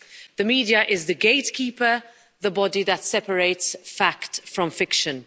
The media is the gatekeeper, the body that separates fact from fiction.